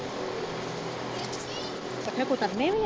ਪੱਠੇ ਕੁਤਰਨੇ ਵੀ ਆ?